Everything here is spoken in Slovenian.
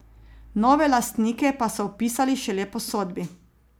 Nove lastnike pa so vpisali šele po sodbi!